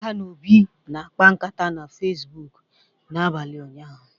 Ada na Obi na-akpa nkata na facebook n'abalị ụnyahụ